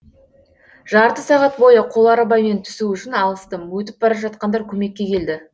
жарты сағат бойы қоларбамен түсу үшін алыстым өтіп бара жатқандар көмекке келді